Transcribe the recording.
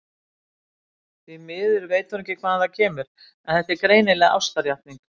Því miður veit hún ekki hvaðan það kemur, en þetta er greinilega ástarjátning.